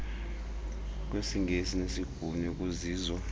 kwesingesi nesibhulu ekuzizo